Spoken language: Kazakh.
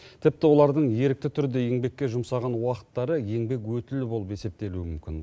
тіпті олардың ерікті түрде еңбекке жұмсаған уақыттары еңбек өтілі болып есептелуі мүмкін